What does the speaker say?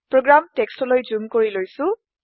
program টেক্সটলৈ zoom কৰি লৈছো